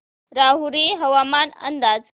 राहुरी हवामान अंदाज